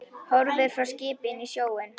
Horfir á skipin og sjóinn.